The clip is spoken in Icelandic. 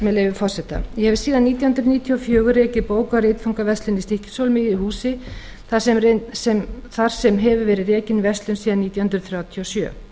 með leyfi forseta ég hef síðan nítján hundruð níutíu og fjögur rekið bóka og ritfangaverslun í stykkishólmi í húsi þar sem hefur verið rekin verslun síðan nítján hundruð þrjátíu og sjö